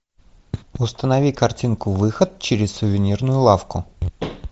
установи картинку выход через сувенирную лавку